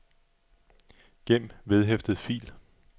gem vedhæftet fil